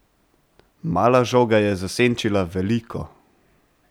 Mala žoga je zasenčila veliko!